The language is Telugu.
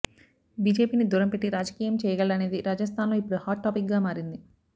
బీజేపీని దూరం పెట్టి రాజకీయం చేయగలడా అనేది రాజస్థాన్లో ఇప్పుడు హాట్ టాపిక్గా మారింది